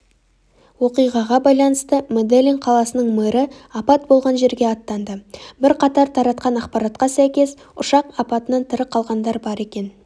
оқиғаға байланысты меделлин қаласының мэрі апат болған жерге аттанды бірқатар таратқан ақпаратқа сәйкес ұшақ апатынан тірі қалғандар бар екен